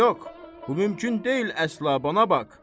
Yox, bu mümkün deyil əsla, bana bax.